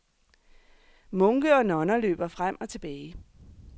Munke og nonner løber frem og tilbage.